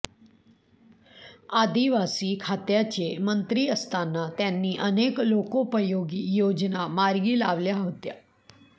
आदिवासी खात्याचे मंत्री असताना त्यांनी अनेक लोकोपयोगी योजना मार्गी लावल्या होत्या